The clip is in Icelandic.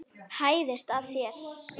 Hæðist að þér.